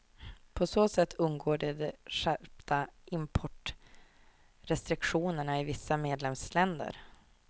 På så sätt undgår de de skärpta importrestriktionerna i vissa medlemsländer.